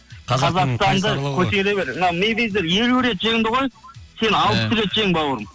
қазақстанды көтере бер мына мериді елу рет жеңді ғой ия сен алпыс рет жең бауырым